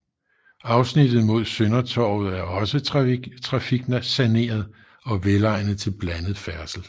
Afsnittet mod Søndertorvet er også trafiksaneret og velegnet til blandet færdsel